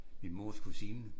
Min mors kusine